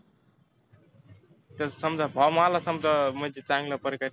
त्याचा समजा form आला चांगल्या प्रकारे.